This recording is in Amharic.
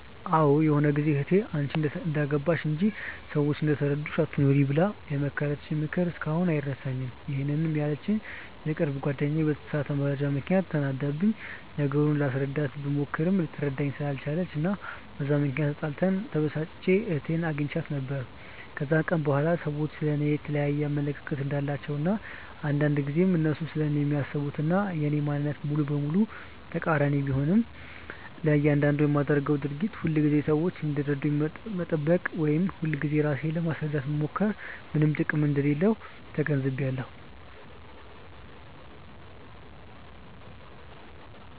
አዎ ይሆነ ጊዜ እህቴ "አንቺ እንደገባሽ እንጂ፤ ሰዎች እንደተረዳሽ አትኑሪ" ብላ የመከረችኝ ምክር እስካሁን አይረሳኝም፤ ይሄንን ያለችኝ የቅርብ ጓደኛዬ በተሳሳተ መረጃ ምክንያት ተናዳብኝ፤ ነገሩን ላስረዳት ብሞክር ልትረዳኝ ስላልቻለች እና በዛ ምክንያት ተጣልተን፤ ተበሳጭቼ እህቴ አግኝታኝ ነው። ከዛን ቀን በኋላ ሰዎች ስለ እኔ የየተለያየ አመለካከት እንዳላቸው እና አንዳንድ ጊዜ እነሱ ስለኔ የሚያስቡት እና የኔ ማንነት ሙሉ በሙሉ ተቃሪኒ ቢሆንም፤ ለያንዳንዱ ለማደርገው ድርጊት ሁልጊዜ ሰዎች እንዲረዱኝ መጠበቅ ወይም ሁልጊዜ ራሴን ለማስረዳት መሞከር ምንም ጥቅም እንደሌለው ተገንዝቢያለው።